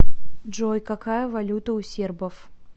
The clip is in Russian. джой какая валюта у сербов